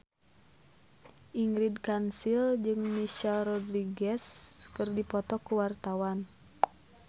Ingrid Kansil jeung Michelle Rodriguez keur dipoto ku wartawan